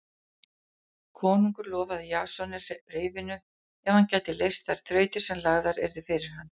Konungur lofaði Jasoni reyfinu ef hann gæti leyst þær þrautir sem lagðar yrðu fyrir hann.